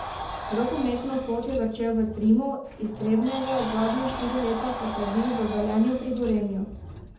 Rokometno pot je začel v Trimu iz Trebnjega, zadnja štiri leta pa prebil v Velenju pri Gorenju.